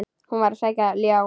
Hann var að sækja ljá.